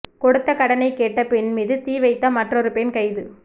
கொடுத்த கடனை கேட்ட பெண் மீது தீ வைத்த மற்றொரு பெண் கைது